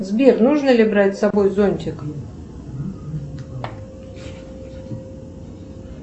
сбер нужно ли брать с собой зонтик